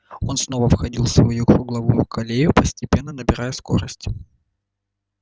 он снова входил в свою круговую колею постепенно набирая скорость